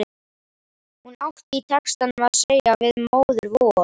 Hún átti í textanum að segja við Móður-Vor